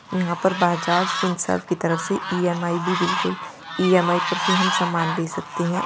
यहां पर बजाज फिनसर्व की तरफ से इ_एम_आई भी बिल्कुल इ_एम_आई पर भी हम सामान ले सकते हैं।